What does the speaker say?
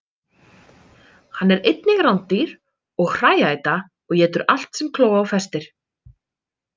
Hann er einnig rándýr og hrææta og étur allt sem kló á festir.